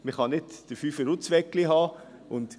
Man kann nicht den Fünfer und das Weggli haben.